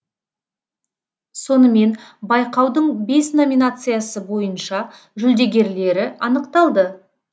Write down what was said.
сонымен байқаудың бес номинациясы бойынша жүлдегерлері анықталды